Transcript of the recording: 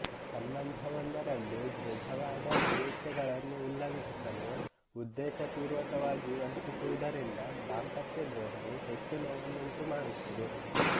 ಸಂಬಂಧವೊಂದರಲ್ಲಿ ದೃಢವಾದ ನಿರೀಕ್ಷೆಗಳನ್ನು ಉಲ್ಲಂಘಿಸಲು ಉದ್ದೇಶಪೂರ್ವಕವಾಗಿ ವಂಚಿಸುವುದರಿಂದ ದಾಂಪತ್ಯ ದ್ರೋಹವು ಹೆಚ್ಚು ನೋವನ್ನುಂಟುಮಾಡುತ್ತದೆ